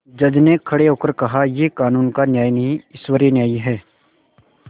जज ने खड़े होकर कहायह कानून का न्याय नहीं ईश्वरीय न्याय है